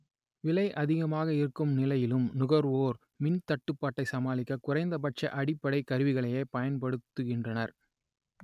‌விலை அ‌திகமாக இரு‌க்கு‌ம் ‌நிலை‌யிலு‌ம் நுக‌ர்வோ‌ர் ‌‌மி‌ன்த‌ட்டு‌ப்பா‌ட்டை சமா‌ளி‌க்க குறை‌ந்தப‌ட்ச அடி‌ப்படை கரு‌விகளையே பய‌ன்படு‌த்து‌கி‌ன்றன‌ர்